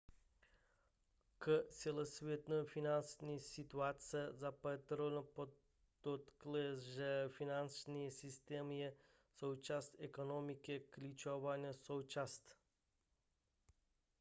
k celosvětové finanční situaci zapatero podotkl že finanční systém je součást ekonomiky klíčová součást